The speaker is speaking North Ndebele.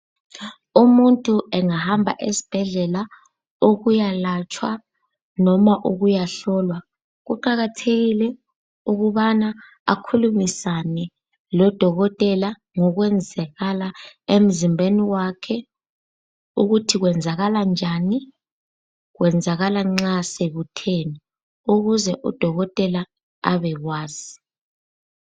Umuntu engahamba esibhedlela ukuyalatshwa noma ukuyahlolwa, kuqakathekile ukubana akhulumisane lodokotela ngokwenzakala emzimbeni wakhe, ukuthi kwenzakala njani, kwenzakala nxa sekutheni ukuze udokotela abekwazi.